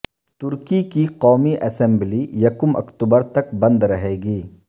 ترکی کی قومی اسمبلی یکم اکتوبر تک بند رہے گی